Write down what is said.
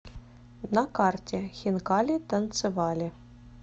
на карте хинкали танцевали